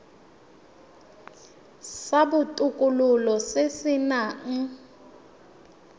sa botokololo se se nang